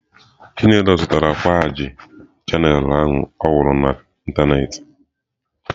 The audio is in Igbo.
Chinelo zụtara kwaaji Channel ahụ ọ hụrụ na ịntanetị.